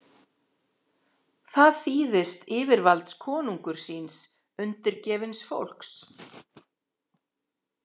Það þýðist yfirvalds konungur síns undirgefins fólks.